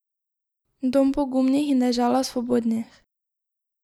Dom pogumnih in dežela svobodnih.